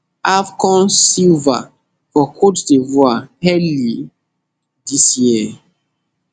afcon silver for cote divoire early dis year